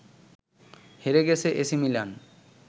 হেরে গেছে AC Milan